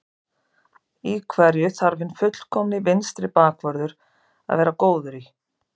Í hverju þarf hinn fullkomni vinstri bakvörður að vera góður í?